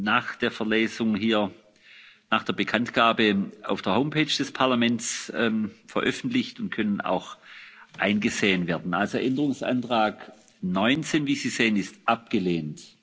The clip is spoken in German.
nach der Verlesung hier nach der Bekanntgabe auf der Homepage des Parlaments veröffentlicht und können auch eingesehen werden. Änderungsantrag 19 ist abgelehnt.